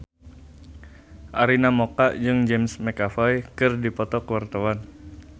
Arina Mocca jeung James McAvoy keur dipoto ku wartawan